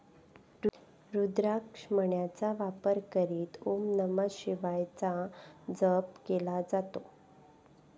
रुद्राक्ष मण्यांचा वापर करीत ओम नमः शिवायचा जप केला जातो.